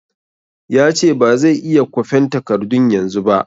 Ya ce ba zai iya kwafen takardun yanzu ba